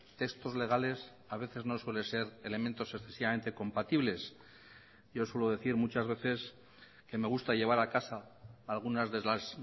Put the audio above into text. textos legales a veces no suele ser elementos excesivamente compatibles yo suelo decir muchas veces que me gusta llevar a casa algunas de las